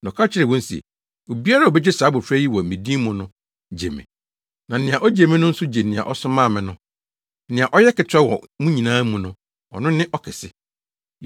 na ɔka kyerɛɛ wɔn se, “Obiara a obegye saa abofra yi wɔ me din mu no, gye me; na nea ogye me no nso gye nea ɔsomaa me no. Nea ɔyɛ aketewa wɔ mo nyinaa mu no, ɔno ne ɔkɛse.”